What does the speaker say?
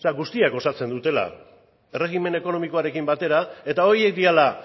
guztiek osatzen dutela erregimen ekonomikoarekin batera eta horiek direla